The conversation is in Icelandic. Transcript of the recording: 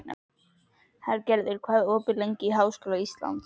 Hergerður, hvað er opið lengi í Háskóla Íslands?